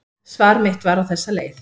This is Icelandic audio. Svar mitt var á þessa leið: